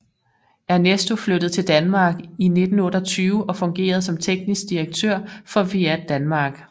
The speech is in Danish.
Ernesto flyttede til Danmark i 1928 og fungerede som teknisk direktør for Fiat Danmark